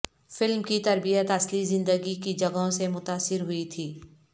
film کی ترتیب اصلی زندگی کی جگہوں سے متاثر ہوئی تھی